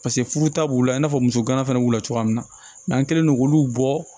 Paseke furu ta b'u la i n'a fɔ muso gana fana b'u la cogoya min na n'an kɛlen don k'olu bɔ